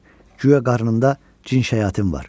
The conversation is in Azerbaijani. Guya qarnında cin şəyatin var.